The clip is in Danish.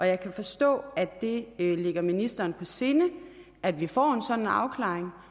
jeg kan forstå at det ligger ministeren på sinde at vi får en sådan afklaring